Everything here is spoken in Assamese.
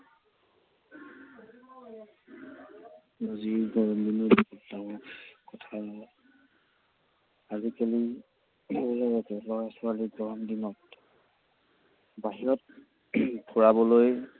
আজিকালি সৰু লৰা ছোৱালীক গৰম দিনত বাহিৰত ফুৰাবলৈ